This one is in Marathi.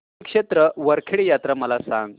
श्री क्षेत्र वरखेड यात्रा मला सांग